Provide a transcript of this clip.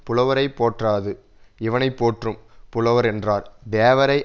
புலவரைப் போற்றாது இவனை போற்றும் புலவரென்றார் தேவரை